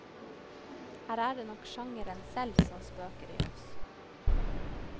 Her er det nok sjangeren selv som spøker i oss.